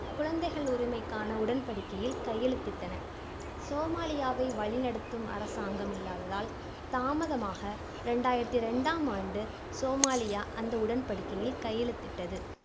குழந்தைகள் உரிமைக்கான உடன்படிக்கையில் கையெழுத்திட்டன. சோமாலியாவை வழி நடத்தும் அரசாங்கம் இல்லாததால், தாமதமாக இரண்டாயிரத்தி ரெண்டாம் ஆண்டு சோமாலியா அந்த உடன்படிக்கையில் கையெழுத்திட்டது.